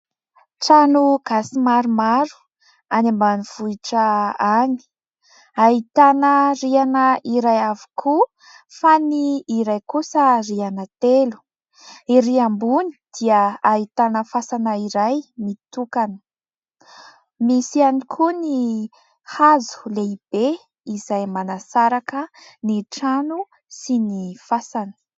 Trano gasy maromaro any ambanivohitra any. Ahitana rihana iray avokoa fa ny iray kosa rihana telo. Ery ambony dia ahitana fasana iray mitokana. Misy ihany koa ny hazo lehibe izay manasaraka ny trano sy ny fasana.